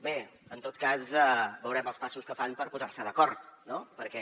bé en tot cas veurem els passos que fan per posar se d’acord no perquè